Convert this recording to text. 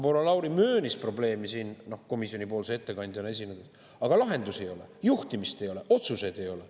Proua Lauri möönis probleemi siin komisjoni ettekandjana esinedes, aga lahendusi ei ole, juhtimist ei ole, otsuseid ei ole.